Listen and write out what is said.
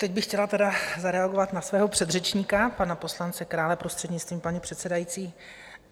Teď bych chtěla tedy zareagovat na svého předřečníka, pana poslance Krále, prostřednictvím paní předsedající.